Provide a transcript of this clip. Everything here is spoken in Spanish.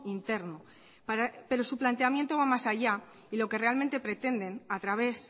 interno pero su planteamiento va más allá y lo que realmente pretenden a través